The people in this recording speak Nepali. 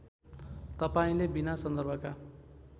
तपाईँले बिना सन्दर्भका